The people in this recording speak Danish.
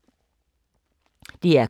DR K